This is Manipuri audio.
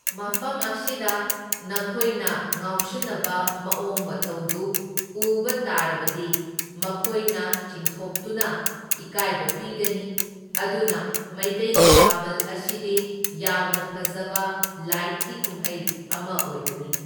ꯃꯐꯝ ꯑꯁꯤꯗ ꯅꯈꯣꯏꯅ ꯉꯥꯎꯁꯤꯟꯅꯕ ꯃꯑꯣꯡ ꯃꯇꯧꯗꯨ ꯎꯕ ꯇꯥꯔꯕꯗꯤ ꯃꯈꯣꯏꯅ ꯆꯤꯡꯊꯣꯛꯇꯨꯅ ꯏꯀꯥꯏꯕ ꯄꯤꯒꯅꯤ꯫ ꯑꯗꯨꯅ ꯃꯩꯇꯩꯒꯤ ꯊꯥꯕꯜ ꯑꯁꯤꯗꯤ ꯌꯥꯝꯅ ꯐꯖꯕ ꯂꯥꯏꯠꯀꯤ ꯀꯨꯝꯍꯩ ꯑꯃ ꯑꯣꯏꯕꯅꯤ꯫